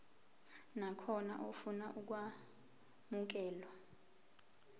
nakhona ofuna ukwamukelwa